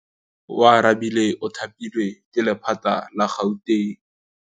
Oarabile o thapilwe ke lephata la Gauteng.